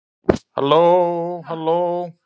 Hvernig kom það til að þú byrjaðir í þessu?